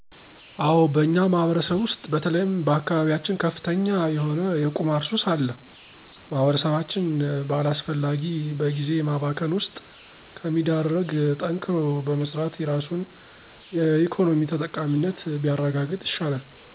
አዎ በእኛ ማህበረሰብ ውሰጥ በተለይም በአካባቢየችን ከፍተኛ የሆነ የቁማር ሱስ አለ። ማህበረሰባችን በአላሰፈላጊ በግዜ ማባከን ውሰጥ ከሚዳረግ ጠንክሮ በመሰራት የራሱን የኢኮኖሚ ተጠቃሚነት ቢያረጋግጥ ይሻላል።